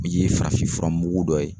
Min ye farafin furamugu dɔ ye